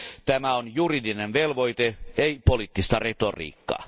Tämä on juridinen velvoite, ei poliittista retoriikkaa.